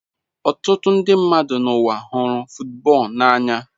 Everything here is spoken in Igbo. Ọtụtụ ndị mmadụ n'ụwa hụrụ football n'anya.